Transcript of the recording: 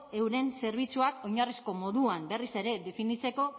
euren zerbitzuak oinarrizko moduan berriz ere definitzeko